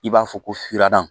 I b'a fɔ ko furadaa